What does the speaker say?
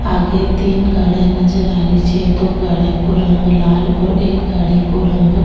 आगे तीन गाड़ियां नजर आ री छे दो गाड़ीया को रंग लाल और एक गाड़ी को रंग --